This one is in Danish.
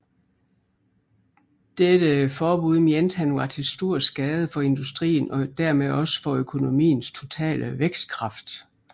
Dette forbud mente han var til stor skade for industrien og dermed også for økonomiens totale vækstkraft